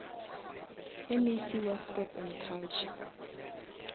mec wa sports and culture